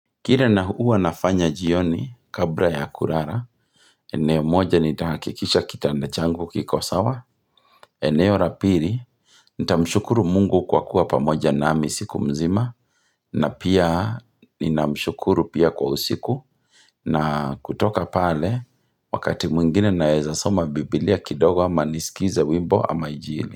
Kile na huwa nafanya jioni kabla ya kulala, eneo moja nitahakikisha kitanda changu kiko sawa, eneo la pili, nitamshukuru mungu kwa kuwa pamoja nami siku mzima, na pia ninamshukuru pia kwa usiku, na kutoka pale, wakati mwingine naeza soma biblia kidogo ama nisikize wimbo ama injili.